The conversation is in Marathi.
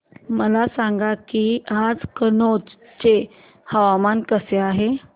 मला सांगा की आज कनौज चे हवामान कसे आहे